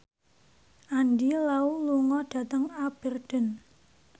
Andy Lau lunga dhateng Aberdeen